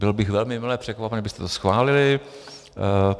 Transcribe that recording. Byl bych velmi mile překvapen, kdybyste to schválili.